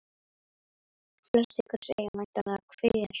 Flest ykkar segja væntanlega Hver?